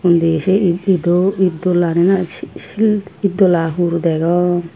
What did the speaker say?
de sei it it ido itdola na si si sil itdola hoor degong.